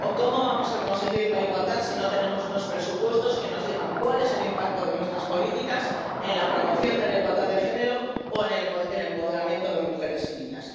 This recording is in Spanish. ¿O cómo vamos a conseguir la igualdad si no tenemos unos presupuestos que nos digan cuál es el impacto de nuestras políticas en la promoción de la igualdad de género o en el empoderamiento de mujeres y niñas?